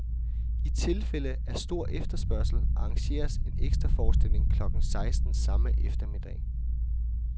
I tilfælde af stor efterspørgsel arrangeres en ekstraforestilling klokken seksten samme eftermiddag.